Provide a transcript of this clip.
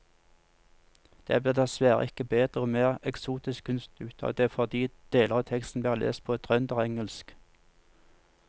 Det blir dessverre ikke bedre og mer eksotisk kunst ut av det fordi deler av teksten blir lest på trønderengelsk.